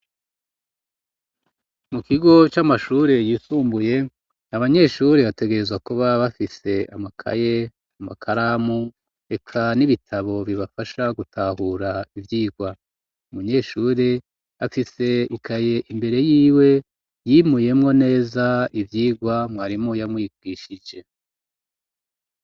Mu kigo c'amashure yisumbuye abanyeshuri bategerezwa kuba bafise amakaye amakaramu eka n'ibitabo bibafasha gutahura ivyirwa umunyeshure afise ikaye imbere yiwe yimuyemwo neza ivyirwa mwarimwoe yamuyikwishije.